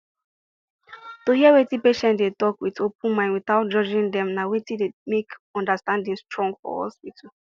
to hear wetin patient dey talk with open mind without judging dem na wetin dey make understanding strong for hospital